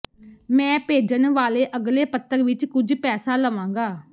ਮੈਂ ਭੇਜਣ ਵਾਲੇ ਅਗਲੇ ਪੱਤਰ ਵਿਚ ਕੁਝ ਪੈਸਾ ਲਵਾਂਗਾ